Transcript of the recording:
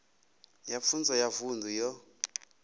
ya pfunzo ya vunḓu yo